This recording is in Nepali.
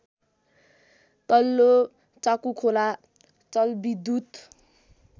तल्लो चाकुखोला जलविद्युत